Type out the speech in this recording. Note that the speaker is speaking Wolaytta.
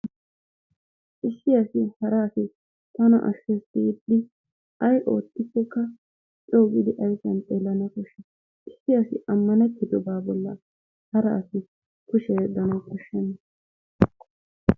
Issi asi hara asi tana ashshes giidi ayi oottikkokka coo gidi ayifiyan xeellana koshshes. Issi asi ammanettidobaa bolla hara asi kushiya yeddanawu koshshenna.